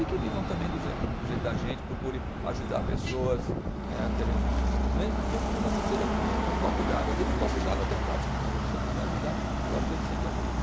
E que vivam também do do jeito da gente, procure ajudar pessoas né, que a gente, me mesmo que você seja com um copo de água, dê um copo de água até um prato de comida, o que você puder ajudar, eu acho que a gente tem que ajudar.